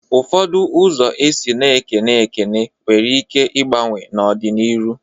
Ụfọdụ ụzọ esi na-ekene ekene nwere ike igbanwe n'ọ dị n'iru.